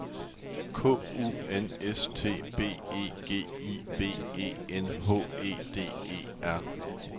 K U N S T B E G I V E N H E D E R